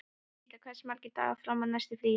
Ríta, hversu margir dagar fram að næsta fríi?